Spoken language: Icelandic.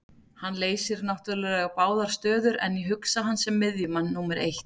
Hann leysir náttúrulega báðar stöður en ég hugsa hann sem miðjumann númer eitt.